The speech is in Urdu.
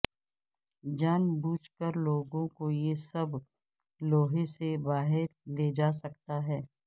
جان بوجھ کر لوگوں کو یہ سب لوہے سے باہر لے جا سکتا ہے